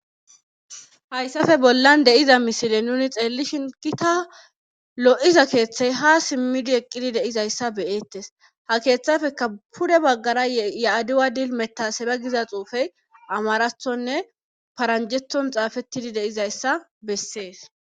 hayssafe bollan deiza misile nuni xeelli shingita lo7iza keeththey ha simmidi eqqidi deizayssa beyeettes ha keeththafeka pude baggara ya7aduwa dil metaseba giza xuufey amarathonne paranjethon xaafettidi deizayssa bessees